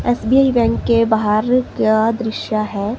SBI bank के बाहर का दृश्य है।